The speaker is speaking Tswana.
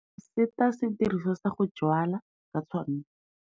Go seta sediriswa sa go jwala ka tshwanno.